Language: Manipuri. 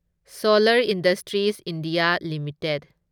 solar Industries India limited